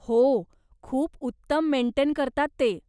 हो, खूप उत्तम मेंटेन करतात ते.